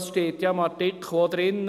Es steht ja auch im Artikel: